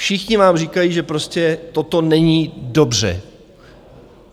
Všichni vám říkají, že prostě toto není dobře.